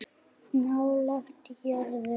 Nálægt jörðu